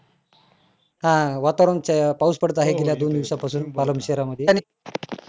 आ वातावरण च्या पाऊस पडत आहे गेल्या दोन दिवसा पासून पालन शहरामध्ये त्यानी